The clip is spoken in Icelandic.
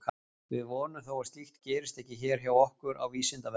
Við vonum þó að slíkt gerist ekki hér hjá okkur á Vísindavefnum!